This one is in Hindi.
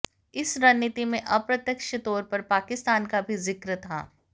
इस रणनीति में अप्रत्यक्ष तौर पर पाकिस्तान का भी जिक्र था